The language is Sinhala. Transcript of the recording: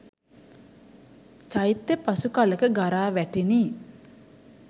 චෛත්‍යය පසු කලෙක ගරා වැටිණි.